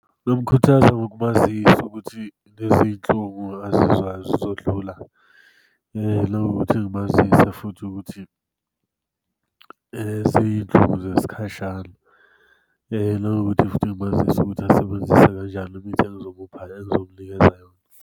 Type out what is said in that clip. Ngingamukhuthaza ngokumazisa ukuthi lezi nhlungu azizwayo zizodlula, nanokuthi ngimazise futhi ukuthi ziyinhlungu zesikhashana, nanokuthi futhi ngimazise ukuthi asebenzise kanjani imithi azokunikeza yona.